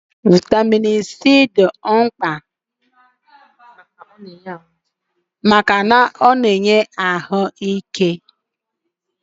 Vitamin B dị mkpa maka usoro kemịkalụ na-eme n'ime ihe dị ndụ iji nọgide na-adị ndụ ike.